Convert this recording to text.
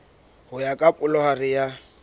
ho ya ka palohare ya